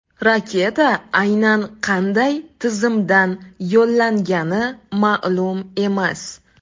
Raketa aynan qanday tizimdan yo‘llangani ma’lum emas.